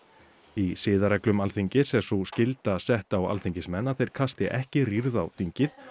í siðareglum Alþingis er sú skylda sett á Alþingismenn að þeir kasti ekki rýrð á þingið